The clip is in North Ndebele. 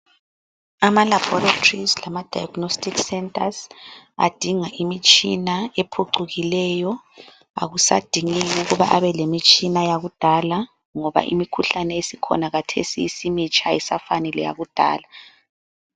Amalaboratories lama diagnostic centers adinga imitshina ephucukileyo, akusadingeki ukuba abelemitshina yakudala ngoba imikhuhlane esikhona khathesi isimitsha ayisafani lakudala.